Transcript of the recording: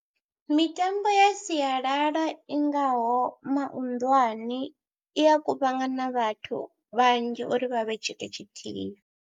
Mitambo ya sialala ingaho mahunḓwane i ya kuvhangana vhathu vhanzhi uri vha vhe tshithu tshithihi.